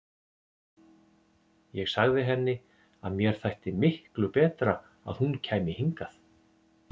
Ég sagði henni að mér þætti miklu betra að hún kæmi hingað.